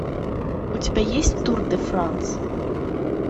у тебя есть тур де франс